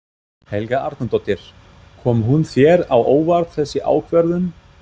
Helga Arnardóttir: Kom hún þér á óvart þessi ákvörðun?